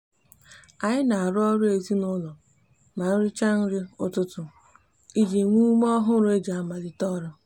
anyi n'aru oru ezinaulo ma ericha nri ututu iji nwe ume ohuru eji amalite oru